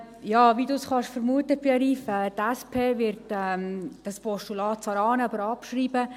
Wie Pierre-Yves Grivel vermuten kann, wird die SP-JUSOPSA-Fraktion dieses Postulat zwar annehmen, aber auch abschreiben.